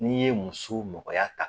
N'i ye muso nɔgɔya ta